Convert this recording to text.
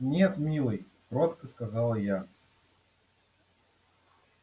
нет милый кротко сказала я